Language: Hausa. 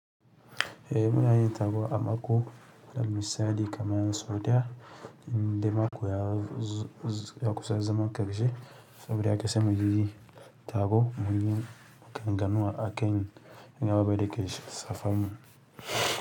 Eh muna yin taro a mako, misali kaman so ɗaya, inda mako ya kusa zama ƙarshe, saboda ya kasamu yayi taro muyi maganganu a kan wani abu dayake shafan mu.